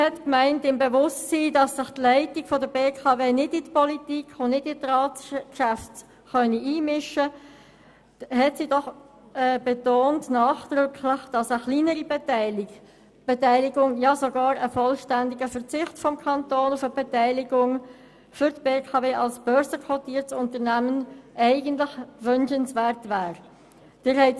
Angesichts der Tatsache, dass sich die BKW nicht in die Politik und die Ratsgeschäfte einmischen könne, betonte sie nachdrücklich, dass eine kleinere Beteiligung oder gar der Verzicht auf eine Beteiligung des Kantons für die BKW als börsenquotiertes Unternehmen wünschenswert wäre.